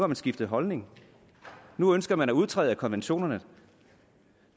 man skiftet holdning nu ønsker man at udtræde af konventionen